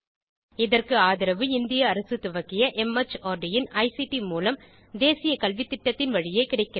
இதற்கு ஆதரவு இந்திய அரசு துவக்கிய மார்ட் இன் ஐசிடி மூலம் தேசிய கல்வித்திட்டத்தின் வழியே கிடைக்கிறது